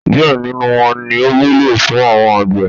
Díẹ̀ nínú wọn ní ó wúlò fún àwọn àgbẹ̀.